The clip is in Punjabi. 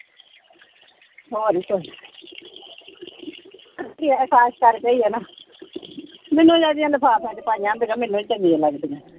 ਹੋਰ ਕਰਦੇ ਹੀ ਆ ਨਾ। ਮੈਨੂੰ ਜ਼ਿਆਦਾ ਲਿਫਾਫਿਆਂ ਚ ਪਾਈਆ ਹੁੰਦੀਆਂ ਮੈਨੂੰ ਨੀ ਚੰਗੀਆਂ ਲੱਗਦੀਆਂ।